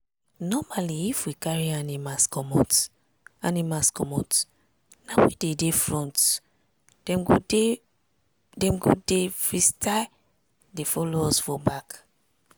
normally if we carry animals commot animals commot na we dey dey front dem go dey free style dey follow us for back.